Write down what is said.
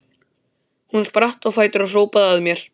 Hún spratt á fætur og hrópaði að mér: